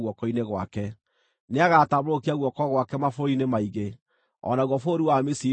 Nĩagatambũrũkia guoko gwake mabũrũri-inĩ maingĩ; o naguo bũrũri wa Misiri ndũkahonoka.